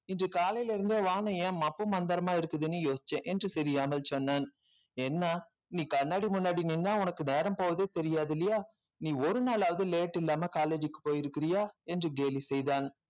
இன்று காலையில இருந்தே வானம் ஏன் மப்பு மந்திரமா இருக்குதுன்னு யோசிச்சேன் என்று தெரியாமல் சொன்னான் என்ன நீ கண்ணாடி முன்னாடி நின்னா உனக்கு நேரம் போகவே தெரியாது இல்லையா நீ ஒரு நாளாவது late இல்லாம college க்கு போயிருக்கிறியா என்று கேலி செய்தான்